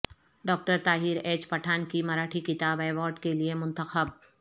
doctor Tahir H Pathan کی مراٹھی کتاب award کے لئے منتخب